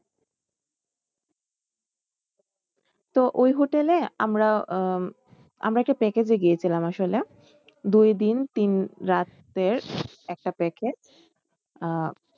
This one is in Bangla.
তো ওই hotel এ আমরা আহ আমরা একটা package এ গিয়েছিলাম আসলে দুই দিন তিন রাতের একটা package আহ